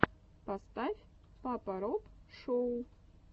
поставь папа роб шоу